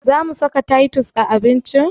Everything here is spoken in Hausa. Zamu saka taitus a abincin?